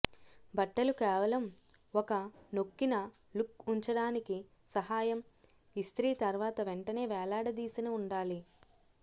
బట్టలు కేవలం ఒక నొక్కిన లుక్ ఉంచడానికి సహాయం ఇస్త్రీ తర్వాత వెంటనే వేలాడదీసిన ఉండాలి